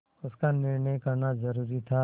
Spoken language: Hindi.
उसका निर्णय करना जरूरी था